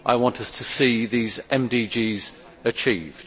I want us to see these MDGs achieved.